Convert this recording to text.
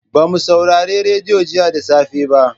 Ba mu saurari radiyo jiya da safe ba.